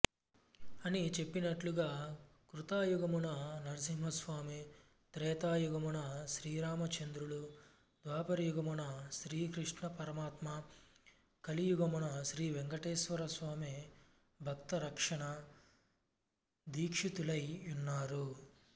అని చెప్పినట్లుగా కృతయుగమున నరసింహస్వామి త్రేతాయుగమున శ్రీరామచంద్రులు ద్వాపరయుగమున శ్రీకృష్ణపరమాత్మ కలియుగమున శ్రీవేంకటేశ్వరస్వామి భక్తరక్షణ దీక్షితులై యున్నారు